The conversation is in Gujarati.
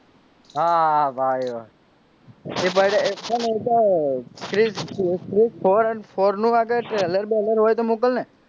હા ભાઈ ક્રીશ threefour નું trailer બેલર હોય તો મોકલને.